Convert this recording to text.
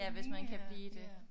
Ja hvis man kan blive det